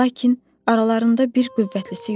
Lakin aralarında bir qüvvətlisi yoxdur.